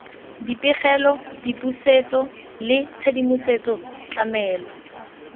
dipegelo dipusetso le tshedimosetso tlamelo